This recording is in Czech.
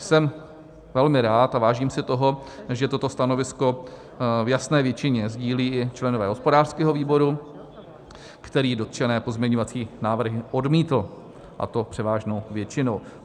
Jsem velmi rád a vážím si toho, že toto stanovisko v jasné většině sdílí i členové hospodářského výboru, který dotčené pozměňovací návrhy odmítl, a to převážnou většinou.